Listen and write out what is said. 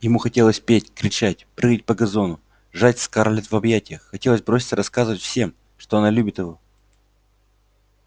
ему хотелось петь кричать прыгать по газону сжать скарлетт в объятиях хотелось броситься рассказывать всем что она любит его